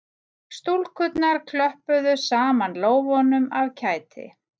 Stúlkurnar klöppuðu saman lófunum af kæti